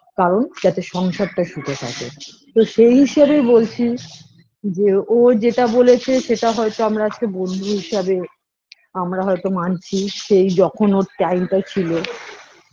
কারণ যাতে সংসারটা সুখে থাকে তো সেই হিসেবে বলছি যে ও যেটা বলেছে সেটা হয়তো আমরা বন্ধু হিসাবে আমারা হয়তো মানছি সেই যখন ওর time টা ছিল